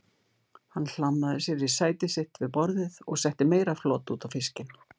Hann hlammaði sér í sæti sitt við borðið og setti meira flot út á fiskinn.